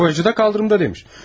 Boyacı da kaldırımda demiş.